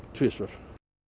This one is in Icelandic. tvisvar